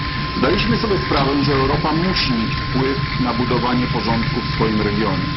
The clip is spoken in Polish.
Zdaliśmy sobie sprawę, że Europa musi mieć wpływ na budowanie porządku w swoim regionie.